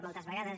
moltes vegades